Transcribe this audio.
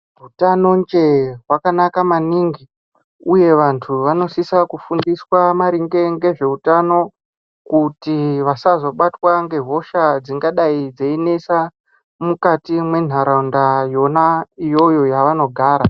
Utanonje hwakanaka maningi uye vantu vanosisa kufundiswa maringe ngezveutano kuti vasasobatwa ngehosha dsingadai dseinesa mukati mwenharaunda yona iyoyo yaanogara.